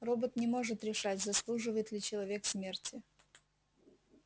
робот не может решать заслуживает ли человек смерти